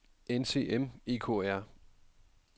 NCM EKR